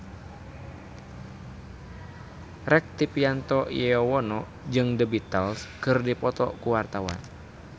Rektivianto Yoewono jeung The Beatles keur dipoto ku wartawan